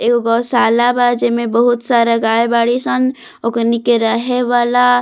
एगो गोशाला बा जेमें गाय बाड़ी सन ओकरनी के रहे वाला --